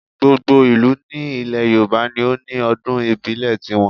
Gbogbo ìlú ní ilẹ̀ Yorùbá ni ó ní ọdún ìbílẹ̀ ti wọn